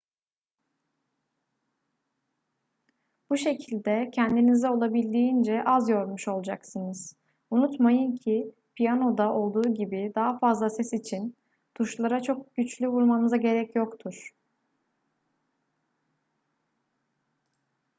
bu şekilde kendinizi olabildiğince az yormuş olacaksınız unutmayın ki piyanoda olduğu gibi daha fazla ses için tuşlara çok güçlü vurmanıza gerek yoktur